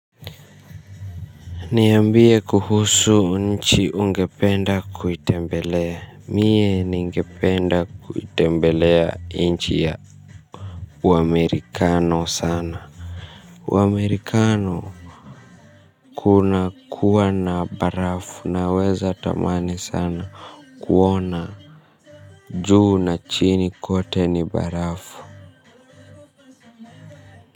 Niambie kuhusu nchi ungependa kuitembelea. Mie ningepende kuitembelea inchi ya uamerikano sana Uamerikano. Kuna kuwa na barafu naweza tamani sana. Kuona juu na chini kote ni barafu.